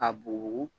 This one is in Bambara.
Ka bugu